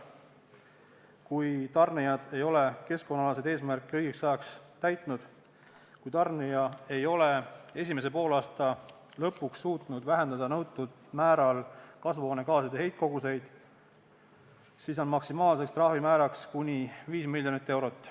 Kui tarnijad ei ole keskkonnaalaseid eesmärke õigeks ajaks täitnud, kui tarnija ei ole esimese poolaasta lõpuks suutnud nõutud määral vähendada kasvuhoonegaaside heitkoguseid, siis on maksimaalne trahvimäär 5 miljonit eurot.